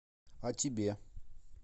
о тебе